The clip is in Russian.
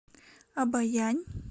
обоянь